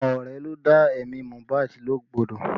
Àwọn ọ̀rẹ́ ló dá ẹ̀mí Mohbad légbodò